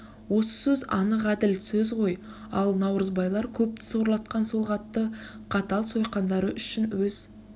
осы сөз анық әділ сөз ғой ал наурызбайлар көпті сорлатқан сол қатты қатал сойқандары үшін өз